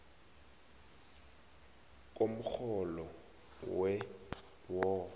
komrholo we wo